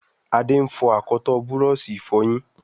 Ade ń fo akọtọ Búrọ̀ọ̀ṣì ìfọyín